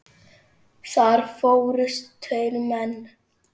Þar fórust tveir menn.